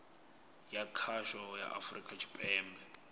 ya khasho ya afurika tshipembe